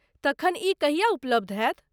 तखन ई कहिया उपलब्ध होयत?